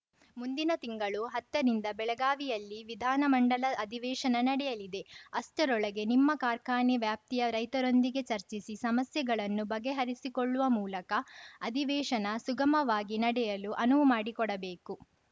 ಮುಂದಿನ ತಿಂಗಳು ಹತ್ತನಿಂದ ಬೆಳಗಾವಿಯಲ್ಲಿ ವಿಧಾನಮಂಡಲ ಅಧಿವೇಶನ ನಡೆಯಲಿದೆ ಅಷ್ಟರೊಳಗೆ ನಿಮ್ಮ ಕಾರ್ಖಾನೆ ವ್ಯಾಪ್ತಿಯ ರೈತರೊಂದಿಗೆ ಚರ್ಚಿಸಿ ಸಮಸ್ಯೆಗಳನ್ನು ಬಗೆಹರಿಸಿಕೊಳ್ಳುವ ಮೂಲಕ ಅಧಿವೇಶನ ಸುಗಮವಾಗಿ ನಡೆಯಲು ಅನುವು ಮಾಡಿಕೊಡಬೇಕು